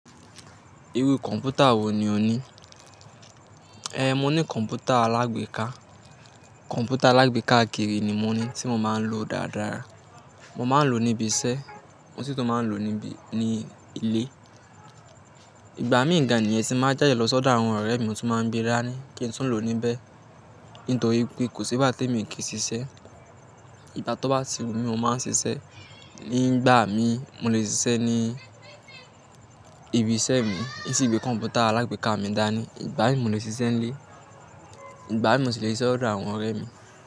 Irú computer wò ní ò ní? Ehn, mo ní computer alágbèéká. Computer alágbèéká kiri ni mo ní tí mo máa ń lò dáadáa. Mo máa ń lò níbi iṣẹ́, mo sì tún máa ń lò níbi, ní ilé. Ìgbà mí gàn ni è ti n ba jáde lọ sọ́dọ̀ àwọn ọ̀rẹ́ mi mo tún máa ń gbé rá ní kí n tu lò ó níbẹ̀. Nítorí pé kò sí ìgbátí emi o kì í ṣiṣẹ́. Ìgbá tó bá ti wù mí mo máa ń ṣiṣẹ́. Nígbà mí, mo lè ṣiṣẹ́ ní ibi iṣẹ́ mi, isìgbèé computer alágbèéká mi dáa ni. Ìgbà mi mo lè ṣe ṣiṣẹ́ ní ilé, ìgbà mi mo sì le ṣe ṣiṣẹ́ lọ sọ́dọ̀ àwọn ọ̀rẹ́ mi.